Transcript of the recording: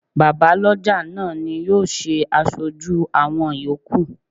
Bàbá lọ́jà náà ni yóò ṣe aṣojú àwọn yòókù.